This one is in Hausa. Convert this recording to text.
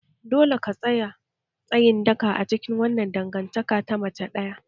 Dole ka tsaya tsayin daka a cikin wannan dangantaka ta mace ɗaya!